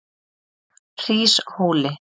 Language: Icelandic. Hríshóli